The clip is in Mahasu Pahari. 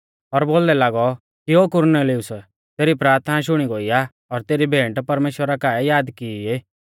और बोलदै लागौ कि ओ कुरनेलियुस तेरी प्राथना शुणी गोई आ और तेरी भेंट परमेश्‍वरा काऐ याद किऐ ई